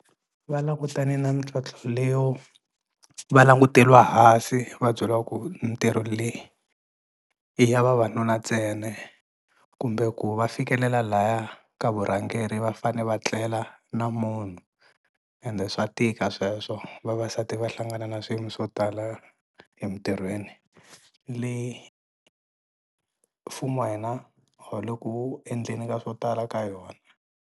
Va langutane na mintlhontlho leyo va languteriwa hansi va byeriwa ku mintirho leyi i ya vavanuna ntsena kumbe ku va fikelela laya ka vurhangeri va fane va tlela na munhu ende swa tika sweswo vavasati va hlangana na swiyimo swo tala emintirhweni le mfumo wa hina a wu le ku endleni ka swo tala ka yona.